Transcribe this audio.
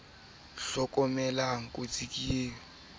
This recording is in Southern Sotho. eo ba e late lang